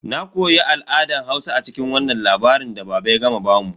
Na koya al'adan Hausa a cikin wannan labari da baba ya gama bamu.